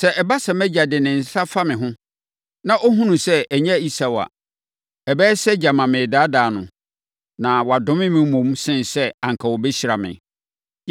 Sɛ ɛba sɛ mʼagya de ne nsa fa me ho, na ɔhunu sɛ ɛnyɛ Esau a, ɛbɛyɛ sɛ gyama meredaadaa no, na wadome me mmom, sene sɛ anka ɔbɛhyira me.”